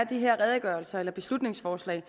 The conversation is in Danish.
de redegørelser eller beslutningsforslag